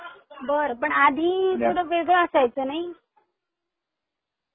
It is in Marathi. बर पण आधी थोड वेगळ असायचं नाही?